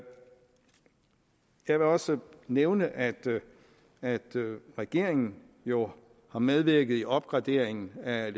vil også nævne at at regeringen jo har medvirket i opgraderingen af